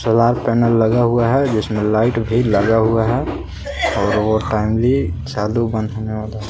लाल banner लगा हुआ है जिसमें लाइट भी लगा हुए हैं और है।